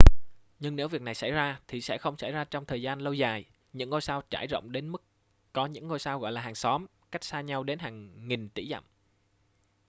nhưng nếu việc này xảy ra thì sẽ không xảy ra trong thời gian lâu dài những ngôi sao trải rộng đến mức có những ngôi sao gọi là hàng xóm cách xa nhau đến hàng nghìn tỷ dặm